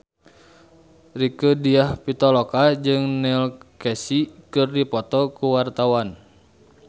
Rieke Diah Pitaloka jeung Neil Casey keur dipoto ku wartawan